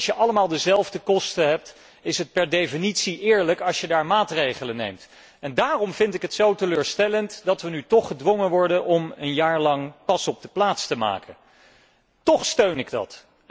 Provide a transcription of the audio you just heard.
Als je allemaal dezelfde kosten hebt, is het per definitie eerlijk als je daar maatregelen neemt. Daarom vind ik het zo teleurstellend dat wij nu toch gedwongen worden om een jaar lang pas op de plaats te maken. Tóch steun ik dat.